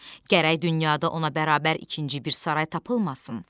Gərək dünyada ona bərabər ikinci bir saray tapılmasın.